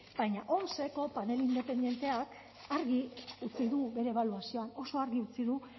baina omseko panel independenteak argi utzi du bere ebaluazioa oso argi utzi du